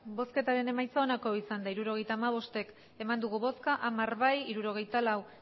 hirurogeita hamabost eman dugu bozka hamar bai hirurogeita lau